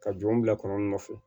Ka jɔnw bila kɔnɔ nɔfɛ